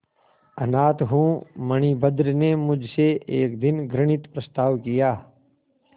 अनाथ हूँ मणिभद्र ने मुझसे एक दिन घृणित प्रस्ताव किया